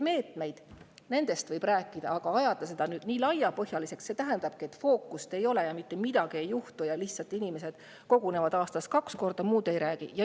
Meetmetest võib rääkida, aga kui see ajada nii laiapõhjaliseks, siis see tähendab, et fookust ei ole ja mitte midagi ei juhtu: lihtsalt inimesed kogunevad kaks korda aastas ja muust ei räägi.